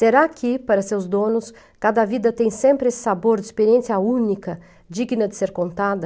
Será que, para seus donos, cada vida tem sempre esse sabor de experiência única, digna de ser contada?